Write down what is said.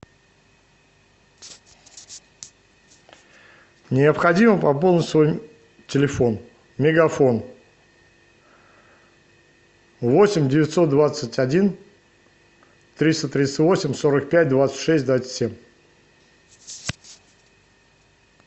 необходимо пополнить свой телефон мегафон восемь девятьсот двадцать один триста тридцать восемь сорок пять двадцать шесть двадцать семь